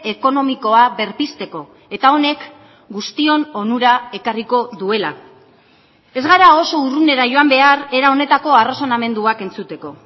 ekonomikoa berpizteko eta honek guztion onura ekarriko duela ez gara oso urrunera joan behar era honetako arrazonamenduak entzuteko